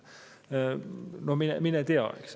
No mine tea, eks!